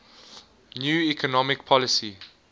new economic policy